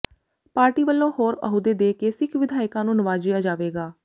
party ਵੱਲੋਂ ਹੋਰ ਅਹੁਦੇ ਦੇ ਕੇ ਸਿੱਖ ਵਿਧਾਇਕਾਂ ਨੂੰ ਨਿਵਾਜਿਆ ਜਾਵੇਗਾ